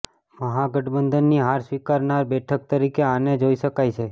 મહાગઠબંધનની હાર સ્વીકારનાર બેઠક તરીકે આને જોઈ શકાય છે